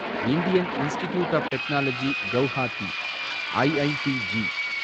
Indian Institute of Technology Guwahati, IITG